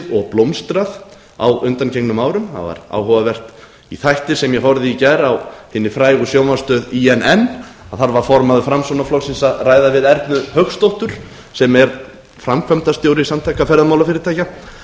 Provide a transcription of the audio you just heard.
og blómstrað á undanförnum árum það var áhugavert í þætti sem ég horfði á í gær á hinni frægu sjónvarpsstöð inn þar var formaður framsóknarflokksins að ræða við ernu hauksdóttur sem er framkvæmdastjóri samtaka